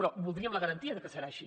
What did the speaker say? però voldríem la garantia de que serà així